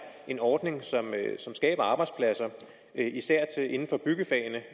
en ordning som skaber arbejdspladser især inden for byggefagene